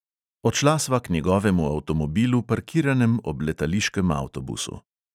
Odšla sva k njegovemu avtomobilu, parkiranem ob letališkem avtobusu.